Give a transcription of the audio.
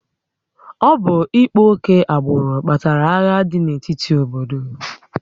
Ọ bụ ịkpa oke agbụrụ kpatara agha dị n'etiti obodo